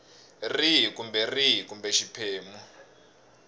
rihi kumbe rihi kumbe xiphemu